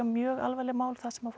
mjög alvarleg mál þar sem